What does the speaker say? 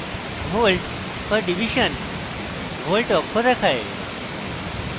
volt/div volt অক্ষ দেখায়